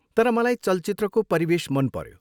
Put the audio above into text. तर मलाई चलचित्रको परिवेश मनपऱ्यो।